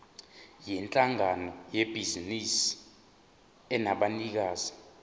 yinhlangano yebhizinisi enabanikazi